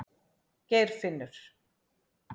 Geirfinnur